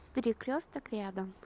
перекресток рядом